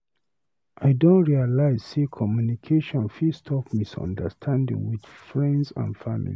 I don realize sey communication fit stop misunderstanding with friends and family.